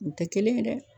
U tɛ kelen ye dɛ